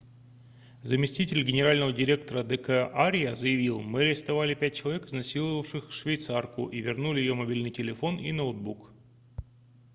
заместитель генерального инспектора д к арья заявил мы арестовали пять человек изнасиловавших швейцарку и вернули ее мобильный телефон и ноутбук